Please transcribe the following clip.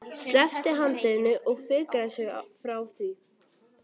Sleppti handriðinu og fikraði sig frá því.